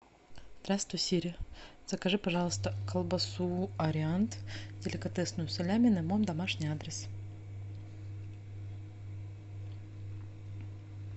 здравствуй сири закажи пожалуйста колбасу ариант деликатесную салями на мой домашний адрес